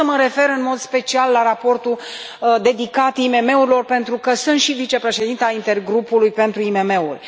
Vreau să mă refer în mod special la raportul dedicat IMM urilor, pentru că sunt și vicepreședinta intergrupului pentru IMM uri.